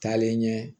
Taalen ɲɛ